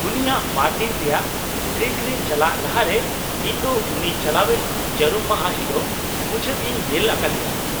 -ᱩᱱᱤᱭᱟᱜ ᱵᱟᱨ ᱫᱤᱱ ᱨᱮᱭᱟᱜ ᱴᱨᱮᱠ ᱨᱮ ᱪᱟᱞᱟᱜ ᱞᱟᱦᱟᱨᱮ ᱤᱧ ᱫᱚ ᱩᱱᱤ ᱪᱟᱞᱟᱣᱮᱱ ᱡᱟᱹᱨᱩᱢ ᱢᱟᱦᱟ ᱦᱤᱞᱳᱜ ᱢᱩᱪᱟᱹᱫ ᱤᱧ ᱧᱮᱞ ᱟᱠᱟᱫᱮᱭᱟ ᱾